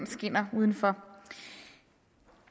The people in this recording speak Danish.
skinner udenfor